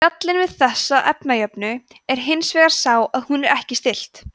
gallinn við þessa efnajöfnu er hins vegar sá að hún er ekki stillt